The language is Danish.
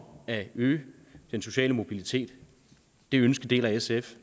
at øge den sociale mobilitet det ønsker deler sf